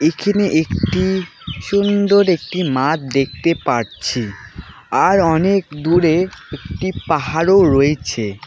এখানে একটি সুন্দর একটি মাঠ দেখতে পারছি আর অনেক দূরে একটি পাহাড়ও রয়েছে।